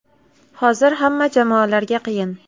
Hozir hamma jamoalarga qiyin.